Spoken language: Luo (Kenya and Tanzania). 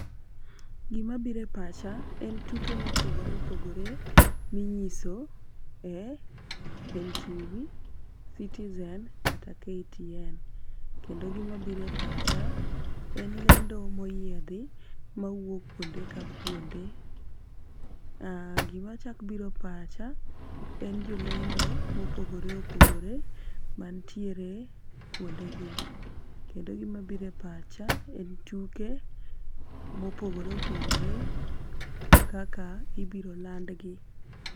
Gima bire pacha en tuke mopogore opogore minyiso e NTV, citizen, kata KTN. Kendo gima bire pacha en lendo moyiedhi mawuok kuonde ka kuonde . Gimachak bire pacha en jolendo mopogore opogore mantiere kuonde gi kendo gima bire pacha en tuke mopogore opogore kaka ibiro landgi.